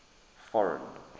foreign